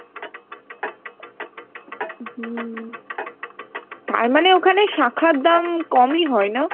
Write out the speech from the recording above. হম তারপরে ওখানে শাখার দাম কমই হয় না?